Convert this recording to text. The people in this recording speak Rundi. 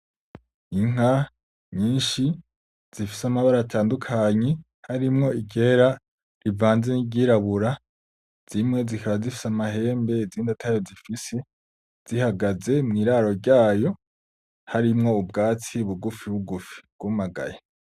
Inka nyinshi zifise amabara atandukanye harimwo iryera rivanze n'iryirabura, zimwe zikaba zifise amahembe izindi atayo zifise, zihagaze mw'iraro ryayo harimwo ubwatsi bugufibugufi bwumagaye.